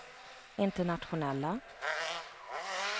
internationella